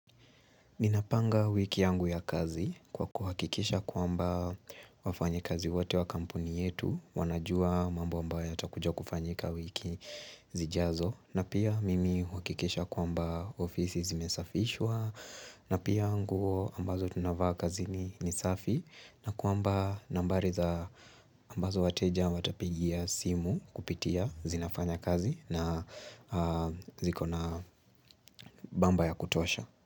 Minapanga wiki yangu ya kazi kwa kuhakikisha kuamba wafanya kazi wote wa kampuni yetu, wanajua mambo ambayo yatakujua kufanyika wiki zijazo, na pia mimi hukikisha kuamba ofisi zimesafishwa, na pia angu ambazo tunavaa kazi ni safi, na kwamba nambari za ambazo wateja watapigia simu kupitia zinafanya kazi na zikona bamba ya kutosha.